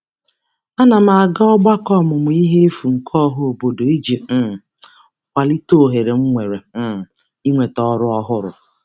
A na m aga ọgbakọ ọmụmụihe efu nke ọhaobodo iji um kwalite ohere m nwere um inweta ọrụ ọhụrụ.